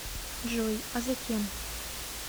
джой а затем